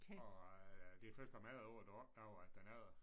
Og øh det er først efter mange år du opdager at den er der